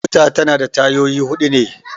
Mota ta na da tayoyi huɗu ne